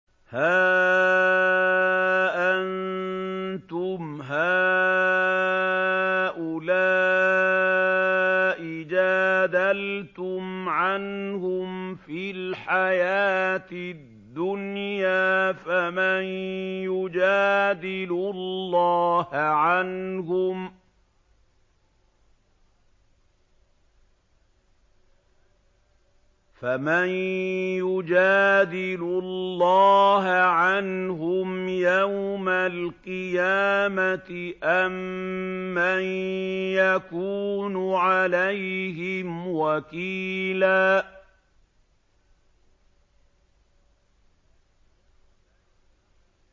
هَا أَنتُمْ هَٰؤُلَاءِ جَادَلْتُمْ عَنْهُمْ فِي الْحَيَاةِ الدُّنْيَا فَمَن يُجَادِلُ اللَّهَ عَنْهُمْ يَوْمَ الْقِيَامَةِ أَم مَّن يَكُونُ عَلَيْهِمْ وَكِيلًا